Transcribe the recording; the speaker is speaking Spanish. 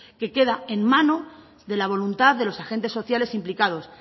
que queda en mano de la voluntad de los agentes sociales implicados